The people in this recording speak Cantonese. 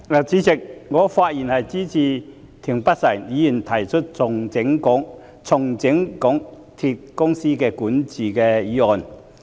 主席，我發言支持田北辰議員提出"重整港鐵公司管治"的議案。